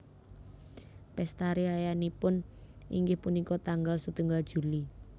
Pesta riyayanipun inggih punika tanggal setunggal Juli